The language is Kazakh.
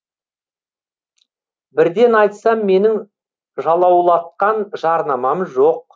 бірден айтсам менің жалаулатқан жарнамам жоқ